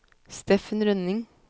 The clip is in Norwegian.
Steffen Rønning